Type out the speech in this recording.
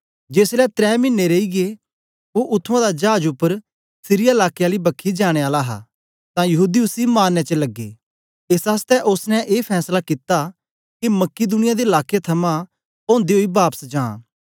जेसलै त्रै मिने रेईयै ओ उत्त्थुआं दा चाज उपर सीरिया लाके आली बखी जाने आला हा तां यहूदी उसी मारने च लगे एस आसतै ओसने ए फैसला कित्ता के मकिदुनिया दे लाके थमां ओदे ओई बापस जा